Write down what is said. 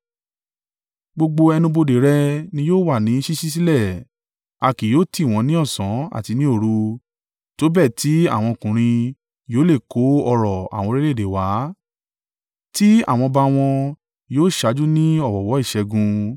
Gbogbo ẹnu-bodè rẹ ni yóò wà ní ṣíṣí sílẹ̀, a kì yóò tì wọ́n ní ọ̀sán àti ní òru, tó bẹ́ẹ̀ tí àwọn ọkùnrin yóò le è kó ọrọ̀ àwọn orílẹ̀-èdè wá tí àwọn ọba wọn yóò ṣáájú ní ọ̀wọ̀ọ̀wọ́ ìṣẹ́gun.